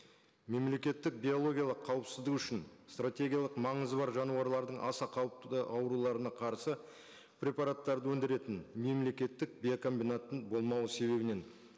мемлекеттік биологиялық қауіпсіздігі үшін стратегиялық маңызы бар жануарлардың аса қауіпті ауруларына қарсы препараттарды өндіретін мемлекеттік биокомбинаттың болмауы себебінен